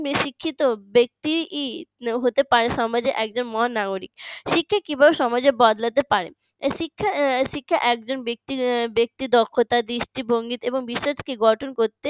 একজন শিক্ষিত ব্যক্তি হতে পারে একজন সমাজের মহানগরী শিক্ষা কিভাবে সমাজে বদলাতে পারে শিক্ষা শিক্ষা একজন ব্যক্তি দক্ষতা দৃষ্টিভঙ্গি এবং বিশ্বাসে গঠন করতে